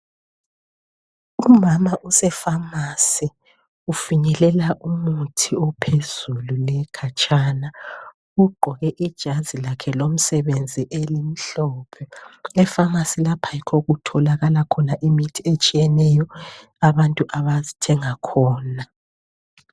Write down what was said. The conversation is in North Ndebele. Umama usepharmacy. Ufinyelela umuthi ophezulu, le khatshana! Ugqoke ijazi lakhe lomsebenzi, elimhlophe. Epharmacy lapha, yikho okutholakala khona imithi etshiyeneyo. Abantu abathenga khona.